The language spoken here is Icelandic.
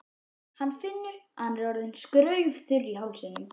Hann finnur að hann er orðinn skraufþurr í hálsinum.